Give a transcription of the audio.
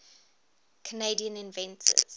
canadian inventors